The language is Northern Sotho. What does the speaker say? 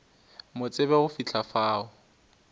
mo tsebe go fihla fao